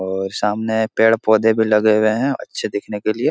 और सामने पेड़-पौधे भी लगे हुए हैं अच्छे दिखने के लिए।